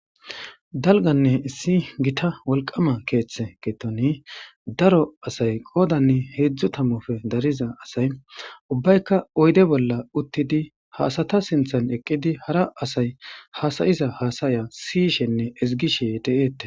Dalganne issi gita wolqama keeththe keetoni daro asay qoodanne heedzdzu tammofe dariza asay ubbaykka oyde bolla uttidi haasata sinthan eqqidi hara asay hasayiza haasaya siyishenne izigishe de7eette